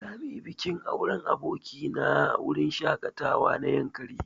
Za muyi bikin auren aboki na a wurin shaƙatawa na yankari.